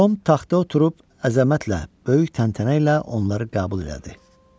Tom taxta oturub əzəmətlə, böyük təntənə ilə onları qəbul elədi.